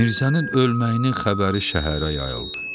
Mirzənin ölməyinin xəbəri şəhərə yayıldı.